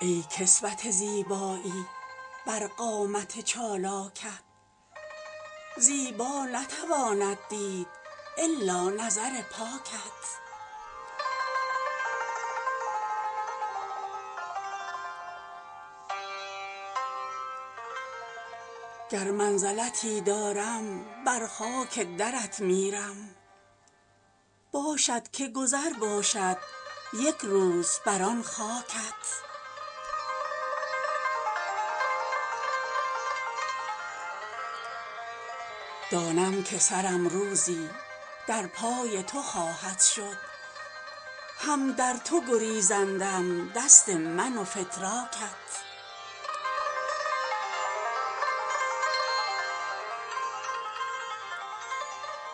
ای کسوت زیبایی بر قامت چالاکت زیبا نتواند دید الا نظر پاکت گر منزلتی دارم بر خاک درت میرم باشد که گذر باشد یک روز بر آن خاکت دانم که سرم روزی در پای تو خواهد شد هم در تو گریزندم دست من و فتراکت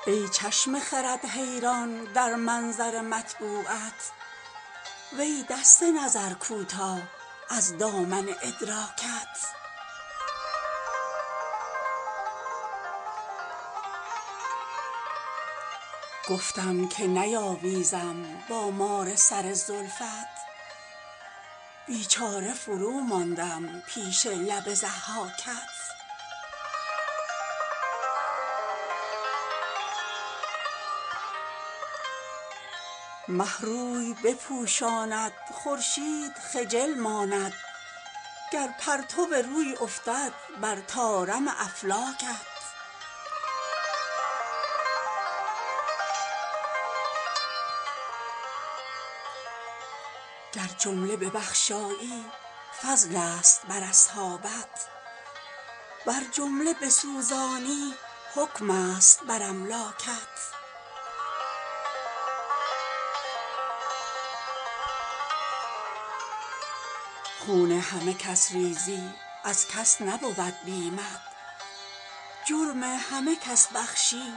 ای چشم خرد حیران در منظر مطبوعت وی دست نظر کوتاه از دامن ادراکت گفتم که نیاویزم با مار سر زلفت بیچاره فروماندم پیش لب ضحاکت مه روی بپوشاند خورشید خجل ماند گر پرتو روی افتد بر طارم افلاکت گر جمله ببخشایی فضلست بر اصحابت ور جمله بسوزانی حکمست بر املاکت خون همه کس ریزی از کس نبود بیمت جرم همه کس بخشی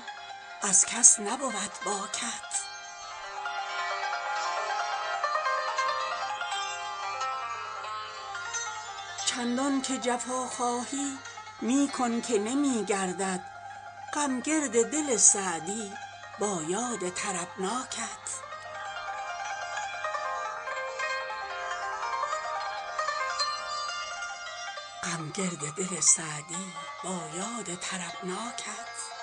از کس نبود باکت چندان که جفا خواهی می کن که نمی گردد غم گرد دل سعدی با یاد طربناکت